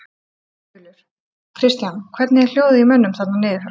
Þulur: Kristján, hvernig er hljóðið í mönnum þarna niður frá?